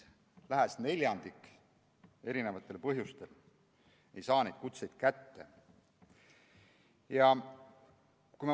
Ligi neljandik ei saa erinevatel põhjustel neid kutseid kätte.